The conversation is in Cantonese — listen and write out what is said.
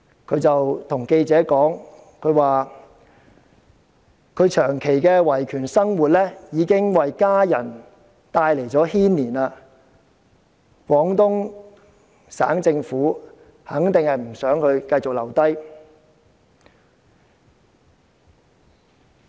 他跟記者說，長期的維權生活已牽連家人，廣東省政府肯定不想他繼續留下。